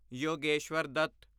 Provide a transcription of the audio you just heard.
Yogeshwar Dutt